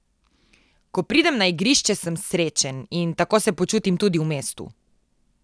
Ko pridem na igrišče, sem srečen in tako se počutim tudi v mestu.